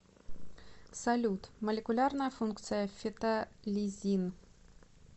салют молекулярная функция фетолизин